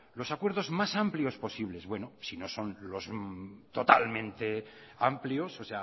los acuerdos más amplios posibles bueno si no son lo totalmente amplios o